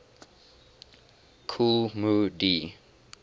kool moe dee